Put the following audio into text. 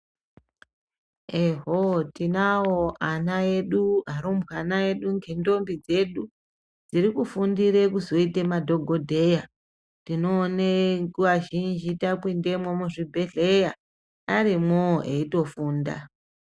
Ehoo tinawo ana edu ngendombi dzedu dzirikufundire kuzoita madhokodheya tinoone nguva zhinji tapindemo muzvibhedhlera arimwowo eitofunda .